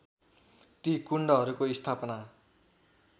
ती कुण्डहरूको स्थापना